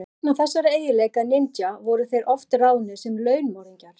Vegna þessara eiginleika ninja voru þeir oft ráðnir sem launmorðingjar.